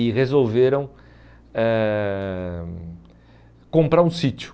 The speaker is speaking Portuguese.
E resolveram eh comprar um sítio.